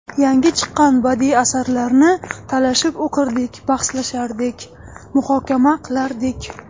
Yangi chiqqan badiiy asarlarni talashib o‘qirdik, bahslashardik, muhokama qilardik.